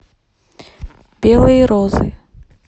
белые розы